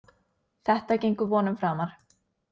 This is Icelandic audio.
Þetta gengur vonum framar.